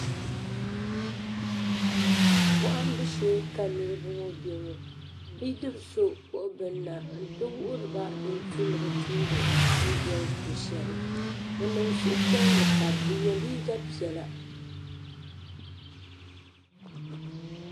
bohambu shee ka niraba ŋɔ bɛ ŋɔ bidib so kpuɣi bini na n ti wuhuriba din tu ni bi tumdi n dɔli sɔ shɛli bi niŋ suhupiɛlli pam bi yɛ liiga piɛla shab